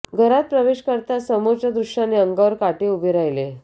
घरात प्रवेश करताच समोरचे दृश्याने अंगावर काटे उभे राहिले